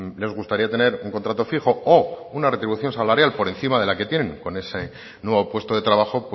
les gustaría tener un contrato fijo o una retribución salarial por encima de la que tienen con ese nuevo puesto de trabajo